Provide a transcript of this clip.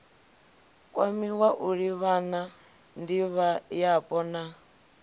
kwamiwa u livhana ndivhoyapo na